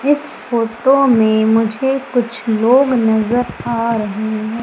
इस फोटो में मुझे कुछ लोग नजर आ रहे हैं।